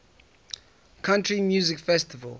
country music festival